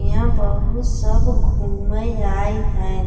इहाँ बहुत सब घूमे आए हैं।